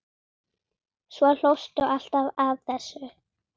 Svo hlóstu alltaf að þessu.